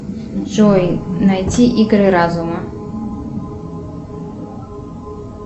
джой найти игры разума